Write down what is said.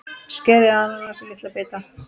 Skerið ananas í litla bita.